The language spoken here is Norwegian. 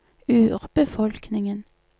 urbefolkningen